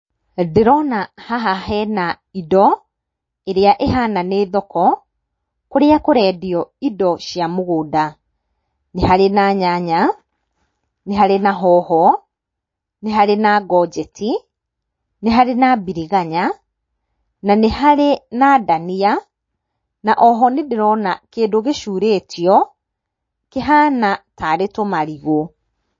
Ndĩrona haha hena indo ĩrĩa ĩhana nĩ thoko, kũrĩa kũrendio indo cia mũgũnda. Nĩ harĩ na nyanya, nĩ harĩ na hoho, nĩ harĩ na ngonjeti, nĩ harĩ na biriganya, na nĩ harĩ na ndania, na oho nĩ ndĩrona kĩndũ gĩcurĩtio kĩhana tarĩ tũmarigũ.